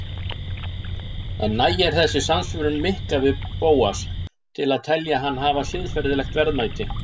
En nægir þessi samsvörun Mikka við Bósa til að telja hann hafa siðferðilegt verðmæti?